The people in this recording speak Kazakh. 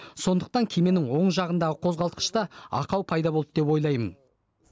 сондықтан кеменің оң жағындағы қозғалтқышта ақау пайда болды деп ойлаймын